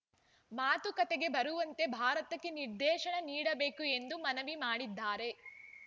ಮಾತುಕತೆಗೆ ಬರುವಂತೆ ಭಾರತಕ್ಕೆ ನಿರ್ದೇಶನ ನೀಡಬೇಕು ಎಂದು ಮನವಿ ಮಾಡಿದ್ದಾರೆ